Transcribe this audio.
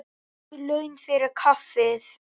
Guð laun fyrir kaffið.